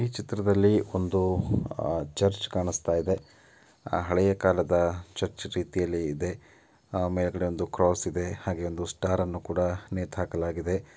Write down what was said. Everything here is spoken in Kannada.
ಈ ಚಿತ್ರದಲ್ಲಿ ಒಂದು ಅ ಚರ್ಚ್ ಕಾಣಸ್ತಾಯಿದೆ. ಹಳೆಯ ಕಾಲದ ಚರ್ಚ್ ರೀತಿಯಲ್ಲಿ ಇದೆ. ಮೇಲ್ಗಡೆ ಒಂದು ಕ್ರಾಸ್ ಇದೆ ಹಾಗೆ ಒಂದು ಸ್ಟಾರ್ ನ್ನು ಕೂಡ ನೇತಾಹಾಕಲಾಗಿದೆ .